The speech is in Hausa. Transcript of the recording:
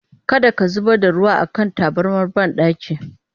Kada ka zubar da ruwa a kan tabarmar banɗaki!